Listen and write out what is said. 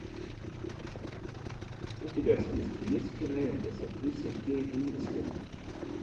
у тебя в списке есть кинолента с актрисой кейт уинслет